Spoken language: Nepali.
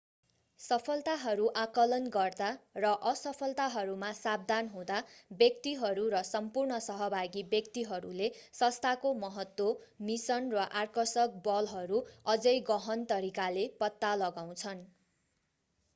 सफलताहरू आँकलन गर्दा र असफलताहरूमा सावधान हुँदा व्यक्तिहरू र सम्पूर्ण सहभागी व्यक्तिहरूले संस्थाको महत्त्व मिसन र आकर्षक बलहरू अझै गहन तरिकाले पत्ता लगाउँछन्